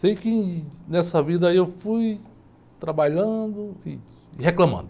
Sei que nessa vida aí eu fui trabalhando ih, e reclamando.